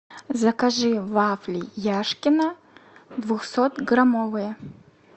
закажи вафли яшкино двухсот граммовые